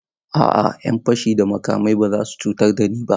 A'a, 'yan fashi da makami ba su cutar da ni ba.